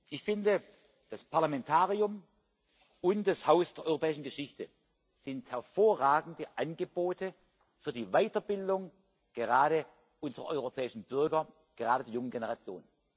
Ich finde, das Parlamentarium und das Haus der europäischen Geschichte sind hervorragende Angebote für die Weiterbildung gerade unserer europäischen Bürger, gerade für die junge Generation.